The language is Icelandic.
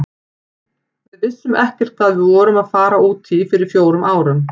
Við vissum ekkert hvað við vorum að fara út í fyrir fjórum árum.